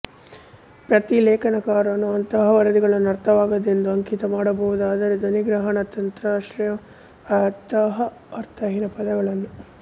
ಪ್ರತಿಲೇಖನಕಾರನು ಅಂತಹ ವರದಿಗಳನ್ನು ಅರ್ಥವಾಗದ್ದೆಂದು ಅಂಕಿತ ಮಾಡಬಹುದು ಆದರೆ ಧ್ವನಿಗ್ರಹಣ ತಂತ್ರಾಂಶವು ಅಂತಹ ಅರ್ಥಹೀನ ಪದಗಳನ್ನು